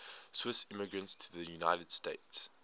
swiss immigrants to the united states